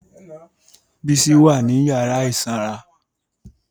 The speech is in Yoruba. Bísí wà ní yàrá ìsanra